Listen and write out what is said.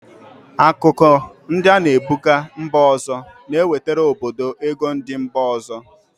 Akụkụ ndi ana ebuga mba ọzọ na-ewetara obodo ego ndi mba ọzọ.